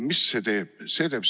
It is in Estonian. Mis see teeb?